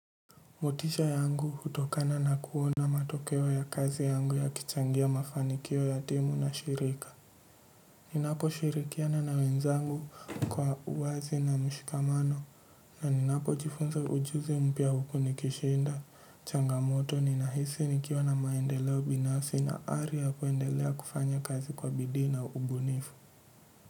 Motisha yangu hutokana na kuona matokeo ya kazi yangu yakichangia mafanikio ya timu na shirika. Ninapo shirikiana na wenzangu kwa uwazi na mshikamano na ninapo jifunza ujuzi mpya huku nikishinda changamoto ninahisi nikiwa na maendeleo binafsi na ari ya kuendelea kufanya kazi kwa bidii na ubunifu.